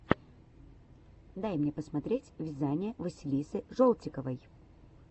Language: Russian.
дай мне посмотреть вязание василисы жолтиковой